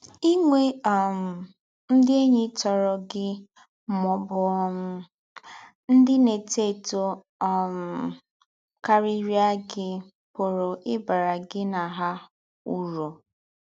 Ị̀nwè́ um ndị̀ ényí tòrọ̀ gị má ọ̀ bụ́ um ndị̀ na-étò étò um káríríà gị pụ̀rù ị̀ bàrà gị na hà ūrù